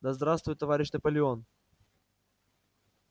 да здравствует товарищ наполеон